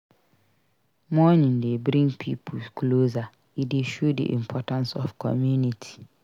Mourning dey bring pipo closer; e dey show the importance of community.